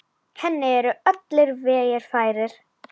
Henni eru allir vegir færir.